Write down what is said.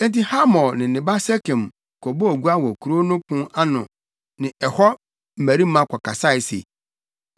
Enti Hamor ne ne ba Sekem kɔbɔɔ gua wɔ kurow no pon ano ne ɛhɔ mmarima kɔkasae se,